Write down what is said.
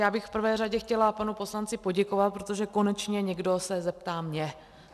Já bych v prvé řadě chtěla panu poslanci poděkovat, protože konečně někdo se zeptá mě.